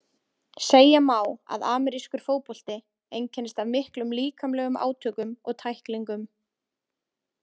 Segja má að amerískur fótbolti einkennist af miklum líkamlegum átökum og tæklingum.